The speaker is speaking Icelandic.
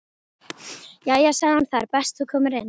Jæja sagði hún, það er best þú komir inn.